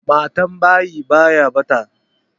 Matambayi baya ɓata.